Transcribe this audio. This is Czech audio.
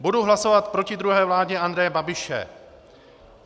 Budu hlasovat proti druhé vládě Andreje Babiše.